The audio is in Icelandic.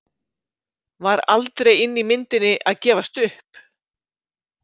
Var aldrei inni í myndinni að gefast upp?